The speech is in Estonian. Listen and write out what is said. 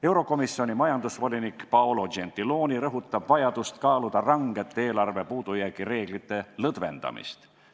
Eurokomisjoni majandusvolinik Paolo Gentiloni rõhutab vajadust kaaluda rangete eelarvepuudujäägi reeglite lõdvendamist.